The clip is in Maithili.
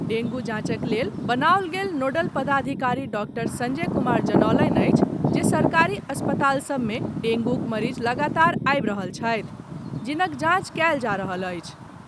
डेंगू जांचक लेल बनाओल गेल नोडल पदाधिकारी डॉक्टर संजय कुमार जनौलनि अछि जे सरकारी अस्पताल सभ मे डेंगूक मरीज लगातार आबि रहल छथि, जिनक जांच कयल जा रहल अछि।